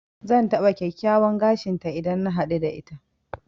Zan taɓa kyakkyawan gashin ta idan na haɗu da ita.